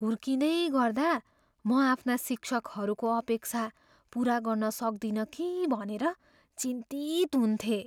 हुर्किँदै गर्दा म आफ्ना शिक्षकहरूको अपेक्षा पुरा गर्न सक्दिनँ कि भनेर चिन्तित हुन्थेँ।